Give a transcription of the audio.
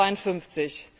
352.